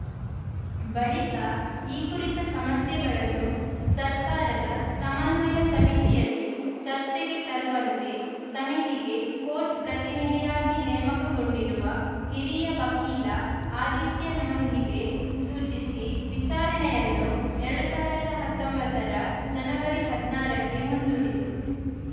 ಬಳಿಕ ಈ ಕುರಿತ ಸಮಸ್ಯೆಗಳನ್ನು ಸರ್ಕಾರದ ಸಮನ್ವಯ ಸಮಿತಿಯಲ್ಲಿ ಚರ್ಚೆಗೆ ತರುವಂತೆ ಸಮಿತಿಗೆ ಕೋರ್ಟ್‌ ಪ್ರತಿನಿಧಿಯಾಗಿ ನೇಮಕಗೊಂಡಿರುವ ಹಿರಿಯ ವಕೀಲ ಆದಿತ್ಯ ನೂಂಧಿಗೆ ಸೂಚಿಸಿ ವಿಚಾರಣೆಯನ್ನು ಎರಡ್ ಸಾವಿರದ ಹತ್ತೊಂಬತ್ತರ ಜನವರಿ ಹದಿನಾರಕ್ಕೆ ಮುಂದೂಡಿತು